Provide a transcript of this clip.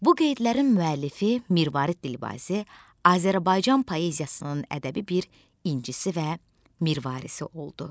Bu qeydlərin müəllifi Mirvarid Dilbazi Azərbaycan poeziyasının ədəbi bir incisi və mirvarisi oldu.